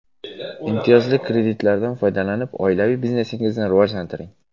Imtiyozli kreditlardan foydalanib, oilaviy biznesingizni rivojlantiring!